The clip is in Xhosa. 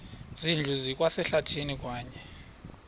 zindlu zikwasehlathini kwaye